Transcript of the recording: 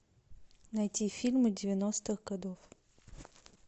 найти фильмы девяностых годов